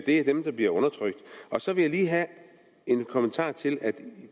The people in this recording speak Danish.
det er dem der bliver undertrykt og så vil jeg lige have en kommentar til